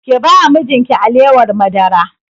Ki ba wa mijin ki alewar madara!